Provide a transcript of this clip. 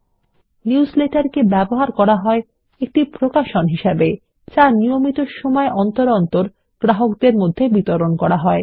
একটি নিউজলেটার কে ব্যবহার করা হয় একটি প্রকাশন হিসেবেযা নিয়মিত সময় অন্তর তার গ্রাহকদের বিতরন করা হয়